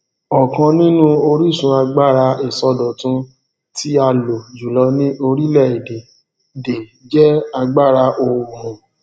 ọkan nínú orísun agbára isọdọtún ti a lo jùlọ ni orílẹ èdè de jẹ agbara oòrùn